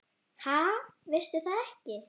Ha, veistu það ekki?